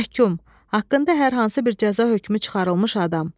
Məhkum, haqqında hər hansı bir cəza hökmü çıxarılmış adam.